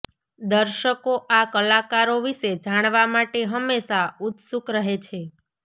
દર્શકો આ કલાકારો વિશે જાણવા માટે હમેશાં ઉત્સુક રહે છે